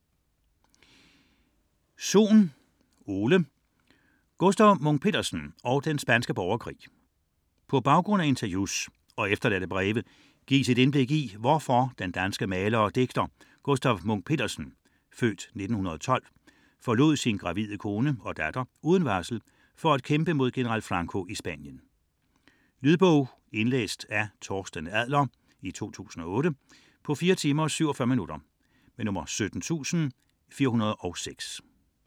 99.4 Munch-Petersen, Gustaf Sohn, Ole: Gustaf Munch-Petersen og den spanske borgerkrig På baggrund af interviews og efterladte breve gives et indblik i hvorfor den danske maler og digter, Gustaf Munch-Petersen (f. 1912), forlod sin gravide kone og datter uden varsel for at kæmpe mod general Franco i Spanien. Lydbog 17406 Indlæst af Torsten Adler, 2008. Spilletid: 4 timer, 47 minutter.